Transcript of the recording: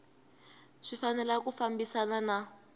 swi fanele ku fambisana na